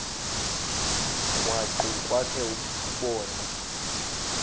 krwaqu kwakhe ubone